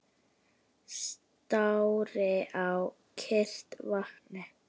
Stari á kyrrt vatnið.